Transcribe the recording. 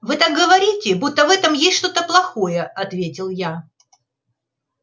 вы так говорите будто в этом есть что-то плохое ответил я